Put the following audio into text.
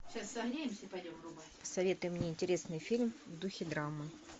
посоветуй мне интересный фильм в духе драмы